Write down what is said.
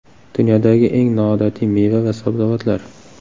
Dunyodagi eng noodatiy meva va sabzavotlar.